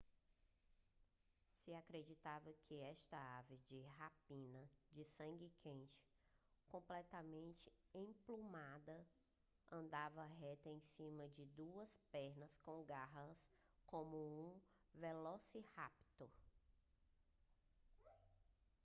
se acreditava que esta ave de rapina de sangue quente completamente emplumada andava reta em cima de duas pernas com garras como um velociraptor